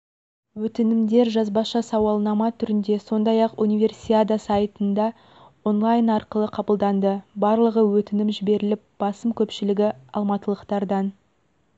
өтінімдер жазбаша сауалнама түрінде сондай-ақ универсиада сайтында онлайн арқылы қабылданды барлығы өтінім жіберіліп басым көпшілігі алматылықтардан